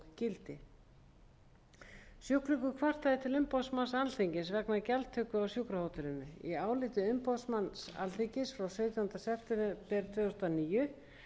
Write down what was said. gildi sjúklingur kvartaði til umboðsmanns alþingis vegna gjaldtöku á sjúkrahótelinu í áliti umboðsmanns alþingis frá sautjánda september tvö þúsund og níu